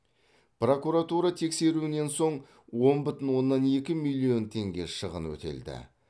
прокуратура тексеруінен соң он бүтін оннан екі миллион теңге шығын өтелді